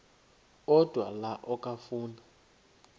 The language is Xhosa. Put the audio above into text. odwa la okafuna